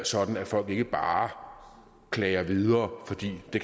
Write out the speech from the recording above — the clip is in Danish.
sådan at folk ikke bare klager videre fordi de